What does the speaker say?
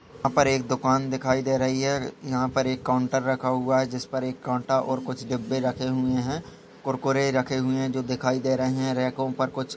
यहाँ पर एक दुकान दिखाई दे रही है यहाँ पर एक काउंटर रखा हुआ है जिस पर एक काँटा और कुछ डिब्बे रखे हुए हैं कुरकुरे रखे हुए जो दिखाई दे रहे हैं रेको पर कुछ--